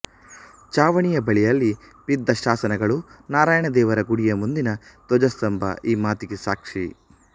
ಚಾವಣಿಯ ಬಳಿಯಲ್ಲಿ ಬಿದ್ದ ಶಾಸನಗಳು ನಾರಾಯಣದೇವರ ಗುಡಿಯ ಮುಂದಿನ ಧ್ವಜಸ್ತಂಭ ಈ ಮಾತಿಗೆ ಸಾಕ್ಷಿ